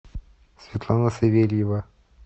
светлана савельева